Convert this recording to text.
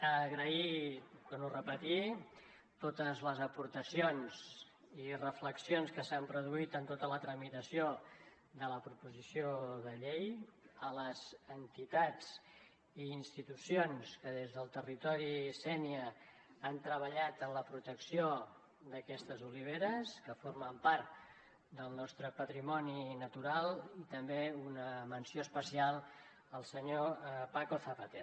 agrair ho torno a repetir totes les aportacions i reflexions que s’han produït en tota la tramitació de la proposició de llei a les entitats i institucions que des del territori sénia han treballat en la protecció d’aquestes oliveres que formen part del nostre patrimoni natural i també una menció especial al senyor paco zapater